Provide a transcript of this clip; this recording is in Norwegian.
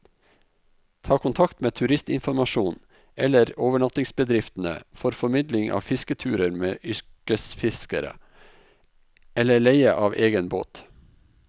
Ta kontakt med turistinformasjonen eller overnattingsbedriftene for formidling av fisketurer med yrkesfiskere, eller leie av egen båt.